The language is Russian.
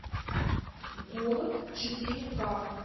голод четыре ка